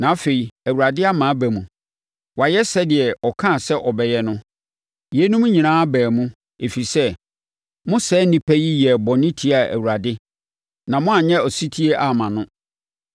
Na afei, Awurade ama aba mu. Wayɛ sɛdeɛ ɔkaa sɛ ɔbɛyɛ no. Yeinom nyinaa baa mu, ɛfiri sɛ, mo saa nnipa yi yɛɛ bɔne tiaa Awurade na moanyɛ ɔsetie amma no.